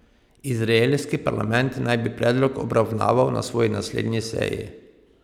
Izraelski parlament naj bi predlog obravnaval na svoji naslednji seji.